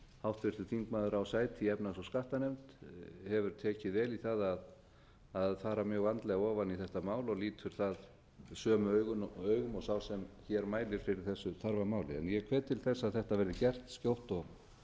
háttvirtur þingmaður á sæti í efnahags og skattanefnd hefur tekið vel í það að fara mjög vandlega ofan í þetta mál og lítur það sömu augum og sá sem hér mælir fyrir þessu þarfa máli ég hvet til þess að þetta verði gert skjótt